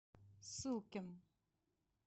сылкин